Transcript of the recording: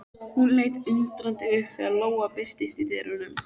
Hún leit undrandi upp þegar Lóa birtist í dyrunum.